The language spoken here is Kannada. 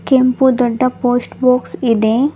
ಕೆಂಪು ದೊಡ್ಡ ಪೋಸ್ಟ್ ಬಾಕ್ಸ್ ಇದೆ.